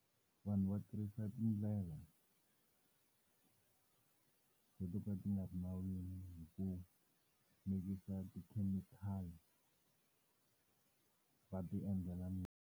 Vanhu va tirhisa tindlela leto ka ti nga ri nawini ku mikisa ti-chemical-i, va ti endlela .